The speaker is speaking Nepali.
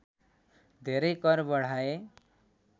धेरै कर बढाए